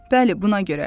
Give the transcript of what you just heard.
Bəli, buna görə.